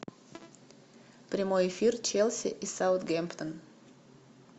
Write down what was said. прямой эфир челси и саутгемптон